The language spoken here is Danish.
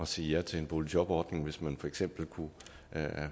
sige ja til en boligjobordning hvis man for eksempel kunne